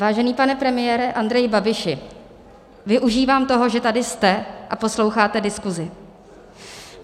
Vážený pane premiére Andreji Babiši, využívám toho, že tady jste a posloucháte diskusi.